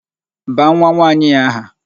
Baa nwanwaanyị a aha!